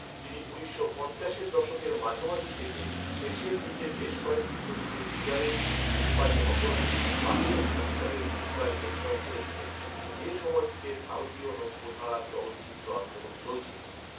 তিনি উনিশশো পঞ্চাশোয দশকের মাঝামাঝি থেকে শেষের দিকে বেশ কয়েকটি ছবিতে সিগারেট ধূমপায়ী অপরাধী বা পুলিশ অফিসারের ভূমিকায় অভিনয় করেছিলেন, যে সময়টিতে ভারতীয় নব্যধারার চলচ্চিত্র আন্দোলন চলছিল।